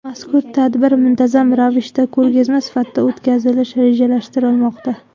Mazkur tadbir muntazam ravishda ko‘rgazma sifatida o‘tkazilishi rejalashtirilmoqda.